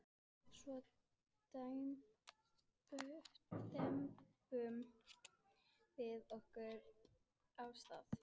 Svo dembdum við okkur af stað.